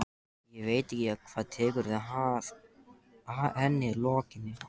Ég veit ekki hvað tekur við að henni lokinni.